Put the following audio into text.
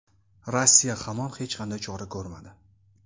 Rossiya hamon hech qanday chora ko‘rmadi.